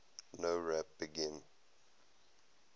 nowrap begin